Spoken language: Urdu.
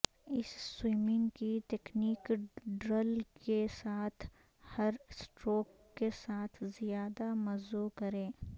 اس سوئمنگ کی تکنیک ڈرل کے ساتھ ہر اسٹروک کے ساتھ زیادہ مزو کریں